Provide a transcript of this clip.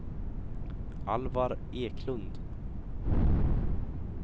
Alvar Eklund